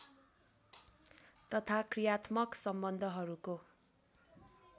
तथा क्रियात्मक सम्बन्धहरूको